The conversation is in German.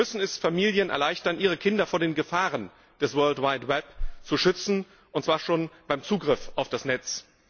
Wir müssen es Familien erleichtern, ihre Kinder vor den Gefahren des World Wide Web zu schützen, und zwar schon beim Zugriff auf das Netz.